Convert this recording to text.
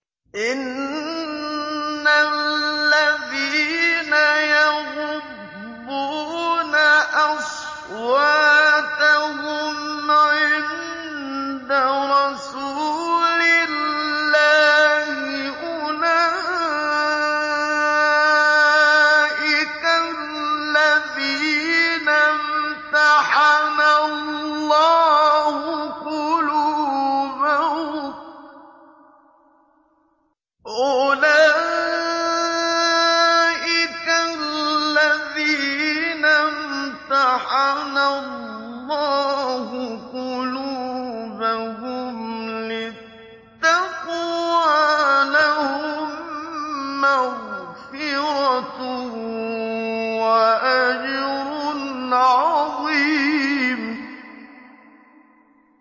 إِنَّ الَّذِينَ يَغُضُّونَ أَصْوَاتَهُمْ عِندَ رَسُولِ اللَّهِ أُولَٰئِكَ الَّذِينَ امْتَحَنَ اللَّهُ قُلُوبَهُمْ لِلتَّقْوَىٰ ۚ لَهُم مَّغْفِرَةٌ وَأَجْرٌ عَظِيمٌ